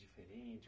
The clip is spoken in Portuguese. Diferente